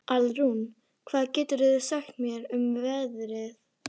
Alrún, hvað geturðu sagt mér um veðrið?